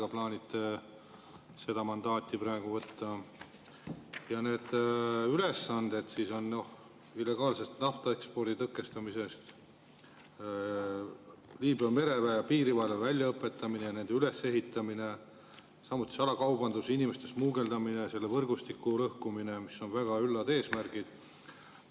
ülesanded on illegaalse naftaekspordi tõkestamine, Liibüa mereväe ja piirivalve väljaõpetamine ja nende ülesehitamine, samuti salakaubanduse ja inimeste smugeldamise võrgustike lõhkumine, mis on väga üllad eesmärgid.